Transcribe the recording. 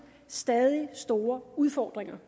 stadig store udfordringer